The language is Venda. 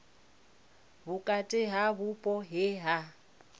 vhukati ha vhupo he ha